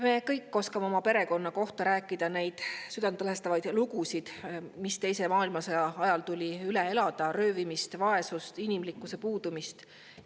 Me kõik oskame oma perekonna kohta rääkida neid südantlõhestavaid lugusid, mis teise maailmasõja ajal tuli üle elada: röövimist, vaesust, inimlikkuse puudumist.